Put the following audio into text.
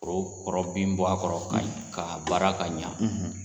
Foro kɔrɔ bin bɔ a kɔrɔ ka ɲa ka baara ka ɲa